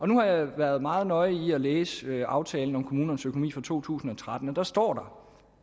nu har jeg været meget nøje med at læse aftalen om kommunernes økonomi for to tusind og tretten og der står